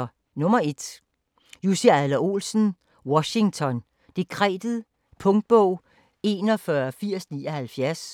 1. Adler-Olsen, Jussi: Washington dekretet Punktbog 418079